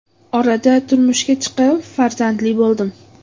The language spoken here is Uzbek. Orada turmushga chiqib, farzandli bo‘ldim.